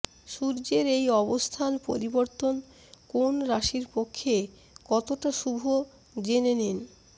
সূর্যের এই অবস্থান পরিবর্তন কোন রাশির পক্ষে কতটা শুভ জেনে নিন